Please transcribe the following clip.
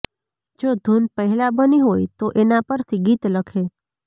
જો ધૂન પહેલાં બની હોય તો એના પરથી ગીત લખે